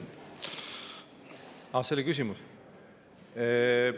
See oli küsimus?